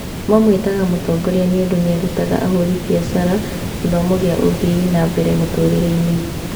Mamwĩtaga mũtongoria nĩũndũ nĩarutaga ahũri biacara gĩthomo gĩa ũthii na mbere mũtũrĩre-inĩ